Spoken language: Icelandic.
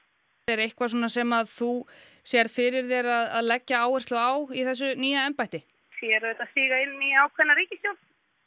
er eitthvað sem þú sérð fyrir þér að leggja áherslu á í þessu nýja embætti ég er auðvitað að stíga inn í ákveðna ríkisstjórn